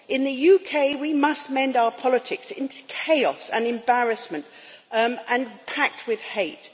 In the UK, we must mend our politics it is chaos and embarrassment and packed with hate.